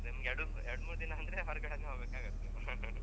ಹಾ ಹೌದು ನಿಮ್ಗೆ ಎರಡ್ ಮೂರ್ ದಿನ ಅಂದ್ರೆ ಹೊರಗಡೆನೇ ಹೋಗ್ಬೇಕಾಗುತ್ತೆ .